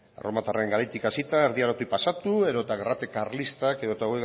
erremotarren garaitik hasita erdi arotik pasatu edota gerrate karlistak edo hogei